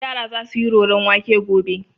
Yara za su yi roron wake gobe.